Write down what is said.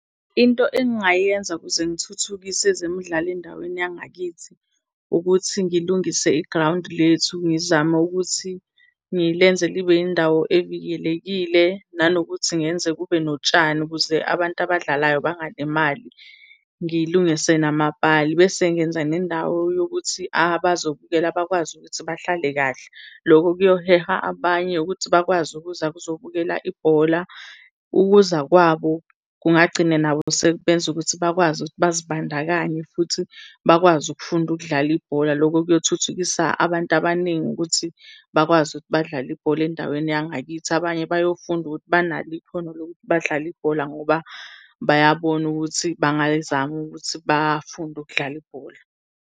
Into engingayenza ukuze ngithuthukise ezemidlalo endaweni yangakithi ukuthi ngilungise igrawundi lethu ngizame ukuthi ngilenze libe indawo evikelekile. Nanokuthi ngenze kube notshani ukuze abantu abadlalayo bangalimali, ngilungise namapali bese ngenza nendawo yokuthi abazobukela bakwazi ukuthi bahlale kahle. Loko kuyoheha abanye ukuthi bakwazi ukuza ukuzobukela ibhola. Ukuza kwabo kungagcine nabo sebenza ukuthi bakwazi ukuthi bazibandakanye futhi bakwazi ukufunda ukudlala ibhola. Loko kuyothuthukisa abantu abaningi ukuthi bakwazi ukuthi badlale ibhola endaweni yangakithi. Abanye bayofunda ukuthi banalo ikhona lokuthi badlale ibhola ngoba bayabona ukuthi bangayizama ukuthi bafunde ukudlala ibhola.